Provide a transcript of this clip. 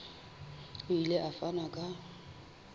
o ile a fana ka